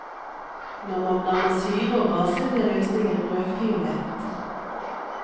Når man blander syre og base blir løsningen rødfiolett.